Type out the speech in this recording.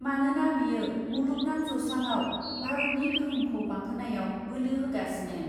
मानोना बियो मुलुगनां जौस्राङाव भारतनि गोहोमखौ बांहोनायाव बोलो होगासिनो ।